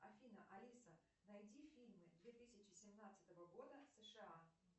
афина алиса найди фильмы две тысячи семнадцатого года сша